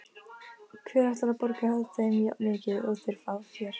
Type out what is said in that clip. Hver ætlar að borga þeim jafnmikið og þeir fá hér?